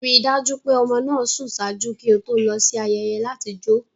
Rii daju pe ọmọ naa sùn ṣaaju ki o to lọ si ayẹyẹ lati jo